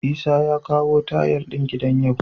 Isah ya kawo tayal din gidan yau?